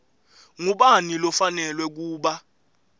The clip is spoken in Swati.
ngubani lofanelwe kuba